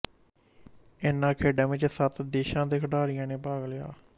ਇਹਨਾਂ ਖੇਡਾਂ ਵਿੱਚ ਸੱਤ ਦੇਸ਼ਾਂ ਦੇ ਖਿਡਾਰੀਆਂ ਨੇ ਭਾਗ ਲਿਆ